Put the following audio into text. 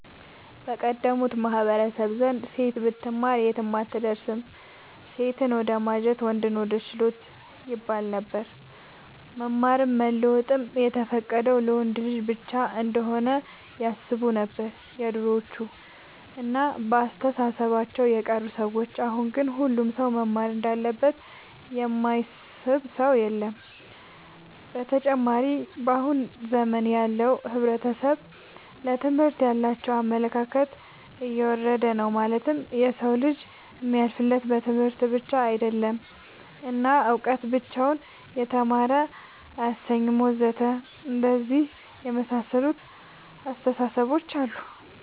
በቀደሙት ማህበረሰቦች ዘንድ ሴት ብትማር የትም አትደርስም ሴትን ወደማጀት ወንድን ወደ ችሎት ይባለነበር። መማርም መለወጥም የተፈቀደው ለወንድ ልጅ ብቻ እንሆነ ያስቡነበር የድሮዎቹ እና በአስተሳሰባቸው የቀሩ ሰዎች አሁን ግን ሁሉም ሰው መማር እንዳለበት የማያስብ ሰው የለም። ብተጨማርም በአሁን ዘመን ያለው ሕብረተሰብ ለትምህርት ያላቸው አመለካከት የወረደ ነው ማለትም የሰው ልጅ የሚያልፍለት በትምህርት ብቻ አይደለም እና እውቀት ብቻውን የተማረ አያሰኝም ወዘተ አንደነዚህ የመሳሰሉት አስታሳሰቦች አሉ